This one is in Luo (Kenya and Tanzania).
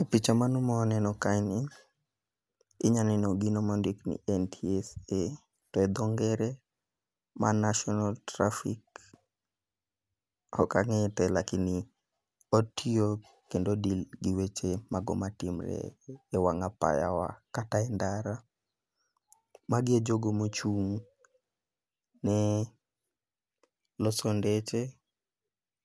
E picha mano mwaneno kaeni, inya neno gino mondikni NTSA to e dho ngere mano national traffic, ok ang'eye te lakini otiyo kendo o deal gi weche mago matimre e wang' apayawa kata e ndara. Magi e jogo mochung'ni loso ndeche